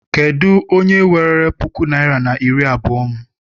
Kedụ onye weere puku naịra na iri abụọ m?